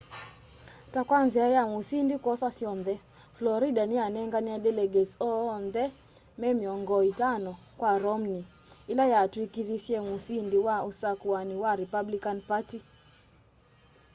ta kwa nzia ya musindi kwosa syonthe florida niyanenganie delegates oonthe me miongo itano kwa romney ila yakutwikithisye musĩndi wa usakũani wa republican party